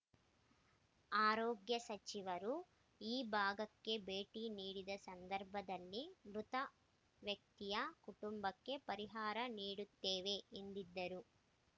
ಆರೋಗ್ಯ ಸಚಿವರು ಈ ಭಾಗಕ್ಕೆ ಭೇಟಿ ನೀಡಿದ ಸಂದರ್ಭದಲ್ಲಿ ಮೃತ ವ್ಯಕ್ತಿಯ ಕುಟುಂಬಕ್ಕೆ ಪರಿಹಾರ ನೀಡುತ್ತೇವೆ ಎಂದಿದ್ದರು